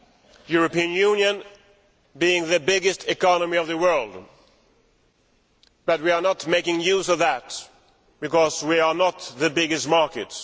The European Union is the biggest economy in the world, but we are not making use of that because we are not the biggest market.